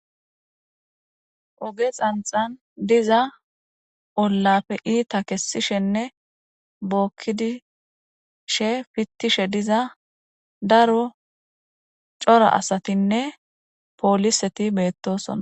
Oge xanxan diza ollapfe iita kessishenne bookkidishe fittishe diza daro cora asatinne pooliseti beettosona